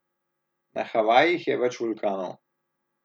Na Havajih je več vulkanov.